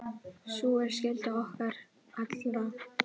Sú er skylda okkar allra.